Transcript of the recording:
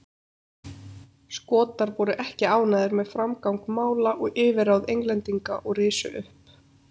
Skotar voru ekki ánægðir með framgang mála og yfirráð Englendinga og risu upp.